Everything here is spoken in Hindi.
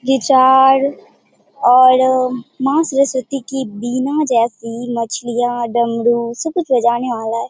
ये चार और मां सरस्वती की वीणा जैसी मछलियां डमरू सब कुछ बजाने वाला है।